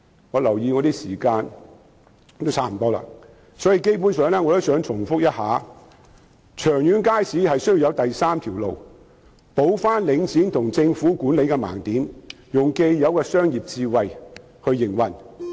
我留意到發言時間差不多結束，基本上我只想重申，長遠而言，街市的管理需要有第三條路，填補領展和政府的盲點，以既有的商業智慧來營運。